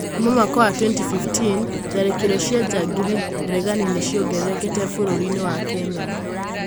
Kuuma mwaka wa 2015, tharĩkĩro cia njangiri regani nĩ ciongererekete vũrũri-inĩ wa Kenya.